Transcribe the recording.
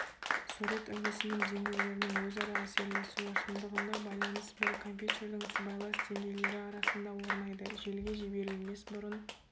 сурет үлгісінің деңгейлерінің өзара әсерлесуі шындығында байланыс бір компьютердің сыбайлас деңгейлері арасында орнайды желіге жіберілмес бұрын